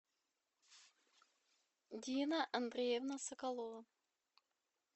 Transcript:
дина андреевна соколова